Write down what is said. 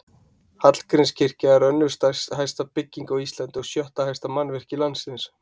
Hallgrímskirkja er önnur hæsta bygging á Íslandi og sjötta hæsta mannvirki landsins.